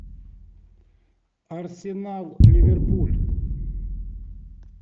арсенал ливерпуль